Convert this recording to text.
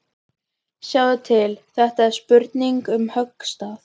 Sjáðu til, þetta er spurning um höggstað.